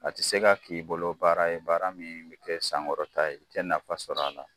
A tɛ se ka k'i bolo baara ye baara min bɛ kɛ sankɔrɔta ye i tɛ nafa sɔrɔ a la.